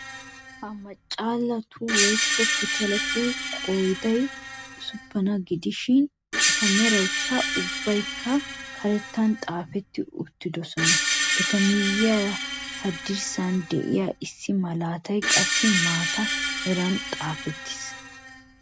Ha machchallatu woykko pitaletu qooday ussupuna gidishin eta meraykka ubbaykka karettaan xaafetti uttidosona. Eta miyiyaara haddirssan de'iyaa issi malatay qassi maata meran xaafettiis.